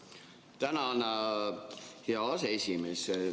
Tänan, hea aseesimees!